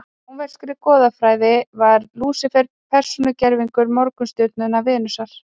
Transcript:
í rómverskri goðafræði var lúsífer persónugervingur morgunstjörnunnar venusar